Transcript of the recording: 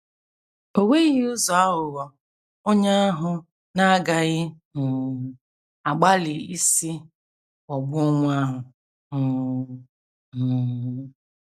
O nweghị ụzọ aghụghọ onye ahụ na - agaghị um agbalị isi ghọgbuo nwa ahụ um. um